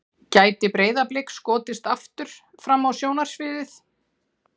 Gæti Breiðablik skotist aftur fram á sjónarsviðið?